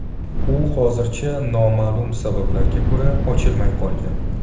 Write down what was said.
U hozircha noma’lum sabablarga ko‘ra, ochilmay qolgan.